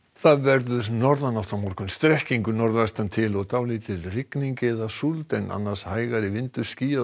það verður norðanátt á morgun strekkingur norðvestan til og dálítil rigning eða súld en annars hægari vindur skýjað og